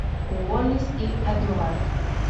уоллис и эдуард